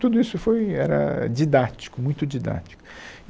Tudo isso foi era didático, muito didático.